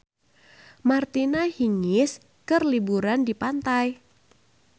Martina Hingis keur liburan di pantai